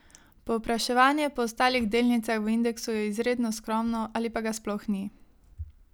Povpraševanje po ostalih delnicah v indeksu je izredno skromno ali pa ga sploh ni.